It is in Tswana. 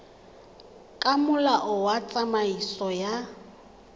ka molao wa tsamaiso ya